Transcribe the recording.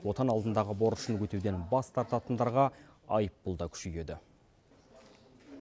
отан алдындағы борышын өтеуден бас тартатындарға айыппұл да күшейеді